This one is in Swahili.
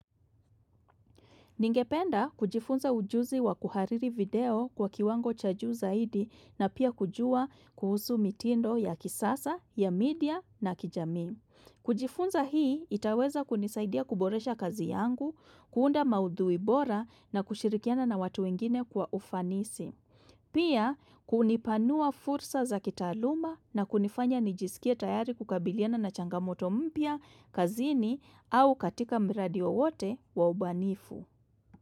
Ningependa kujifunza ujuzi wa kuhariri video kwa kiwango cha juu zaidi na pia kujua kuhusu mitindo ya kisasa, ya media na kijami. Kujifunza hii, itaweza kunisaidia kuboresha kazi yangu, kuunda maudhuibora na kushirikiana na watu wengine kwa ufanisi. Pia, kunipanua fursa za kitaluma na kunifanya nijisikia tayari kukabiliana na changamoto mpya, kazini au katika mradi wote waubanifu.